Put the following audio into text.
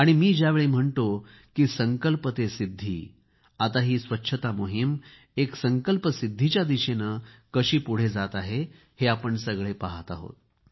मी ज्यावेळी म्हणतो की संकल्प से सिद्धी आता ही स्वच्छता मोहीम एक संकल्पसिद्धीच्या दिशेने कशी पुढे जात आहे हे आपण सगळे पाहत आहोत